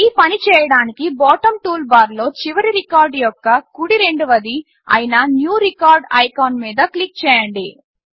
ఈ పని చేయడానికి బాటం టూల్బార్లో చివరి రికార్డ్ యొక్క కుడి రెండవది అయిన న్యూ రికార్డ్ ఐకాన్ మీద క్లిక్ చేయండి